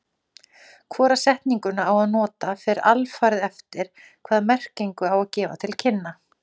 Hvora setninguna á að nota fer alfarið eftir hvaða merkingu á að gefa til kynna.